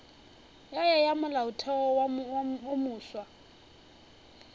ya ya molaotheo wo mofsa